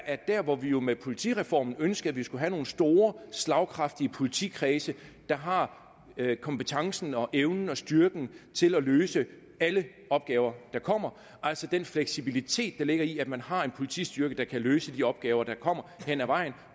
at der hvor vi jo med politireformen ønskede at vi skulle have nogle store slagkraftige politikredse der har kompetencen og evnen og styrken til at løse alle opgaver der kommer altså den fleksibilitet der ligger i at man har en politistyrke der kan løse de opgaver der kommer hen ad vejen